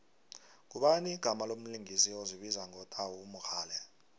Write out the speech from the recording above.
ngubani igama lomlingisi ozibiza ngo tau mogale